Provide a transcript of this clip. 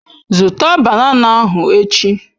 Zụta banana ahụ echi!